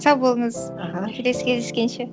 сау болыңыз аха келесі кездескенше